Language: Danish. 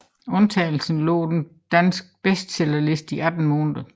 Undtagelsen lå på den danske bestsellerliste 18 måneder